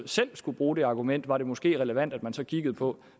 selv skulle bruge det argument var det måske relevant at man så kiggede på